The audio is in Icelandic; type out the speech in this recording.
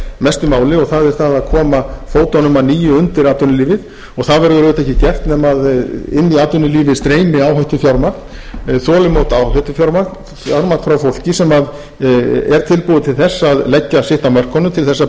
mestu máli og það er það að koma fótunum að nýju undir atvinnulífið það verður auðvitað ekki gert nema inn í atvinnulífið streymi áhættufjármagn þolinmótt áhættufjármagn frá fólki sem er tilbúið til þess að leggja sitt af mörkunum til þess að byggja